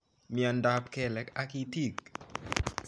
Miondap kelek ak itik